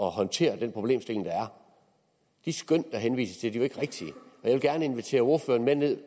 håndtere den problemstilling der er de skøn der henvises til er jo ikke rigtige jeg vil gerne invitere ordføreren med ned